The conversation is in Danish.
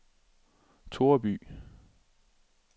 Toreby